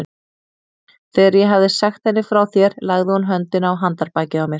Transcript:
Þegar ég hafði sagt henni frá þér lagði hún höndina á handarbakið á mér.